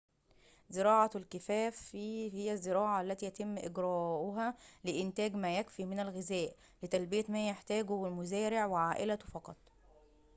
زراعةُ الكِفافِ هي الزّراعة التي يتمّ إجراؤها لإنتاجِ ما يكفي من الغذاء لتلبيةِ ما يحتاجه المزارعُ وعائلته فقط